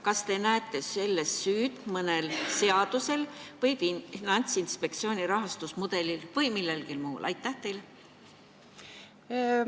Kas te näete siin süüd mõnel seadusel, Finantsinspektsiooni rahastusmudelil või millelgi muul?